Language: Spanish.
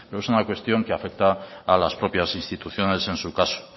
pero es una cuestión que afecta a las propias instituciones en su caso